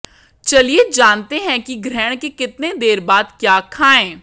चलिए जानते हैं कि ग्रहण के कितने देर बाद क्या खाएं